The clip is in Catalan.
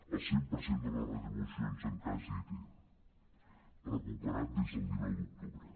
el cent per cent de les retribucions en cas d’it recuperat des del dinou d’octubre